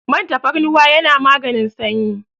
Man tafarnuwa yana maganin sanyi.